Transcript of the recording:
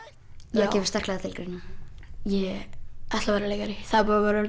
það kemur sterklega til greina ég ætla að verða leikari það er búið að